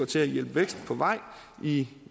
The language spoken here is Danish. til at hjælpe vækst på vej i